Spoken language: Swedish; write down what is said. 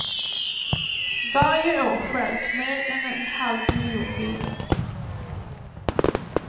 Varje år stjäls mer än en halv miljon bilar.